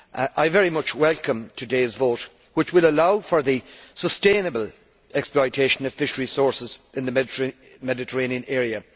I very much welcome today's vote which will allow for the sustainable exploitation of fishery sources in the Mediterranean area.